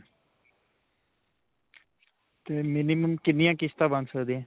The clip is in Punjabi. ਤੇ minimum ਕਿੰਨੀਆ ਕਿਸ਼ਤਾ ਬਣ ਸਕਦੀਆਂ.